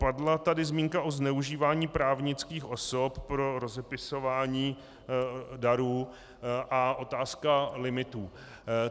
Padla tady zmínka o zneužívání právnických osob pro rozepisování darů a otázka limitů.